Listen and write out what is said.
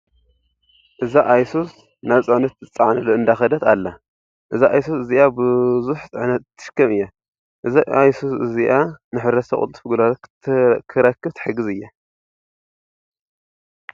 እዛ ኣይሱዝ ናብ ፅዕነት እትፃዓነሉ እንዳከደት ኣላ። እዛ ኣይሱዝ እዚኣ ቡዙሕ ፅሕነት እትሽከም እያ። እዛ ኣሱዝ እዚኣ ንሕብረተሰብ ቅልጡፍ ግልጋሎት ክረክብ ትሕግዝ እያ።